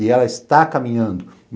E ela está caminhando.